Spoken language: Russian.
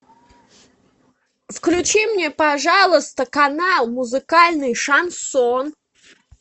включи мне пожалуйста канал музыкальный шансон